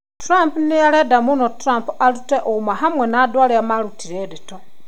Trump nĩarenda mũno Trump arute ũũma hamwe na andũ arĩa maarutire ndeto